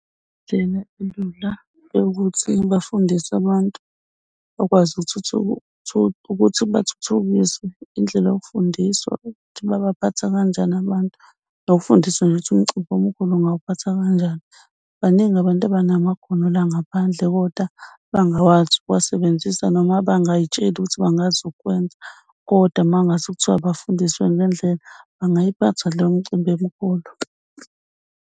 Indlela elula ukuthi bafundise abantu bakwazi ukuthi bathuthukiswe yindlela yokufundiswa ukuthi babaphatha kanjani abantu nokufundisa nje ukuthi umcimbi omkhulu ungawuphatha kanjani. Baningi abantu abanamakhono la ngaphandle kodwa abangawazi ukuwasebenzisa noma abangay'tsheli ukuthi bangazi ukwenza, kodwa uma ngase kuthiwa bafundiswe ngendlela bangayiphatha le mcimbi emkhulu.